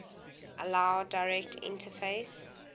allow direct interface